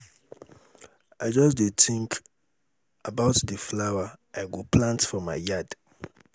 i just dey think about the flower i go plant for my yard.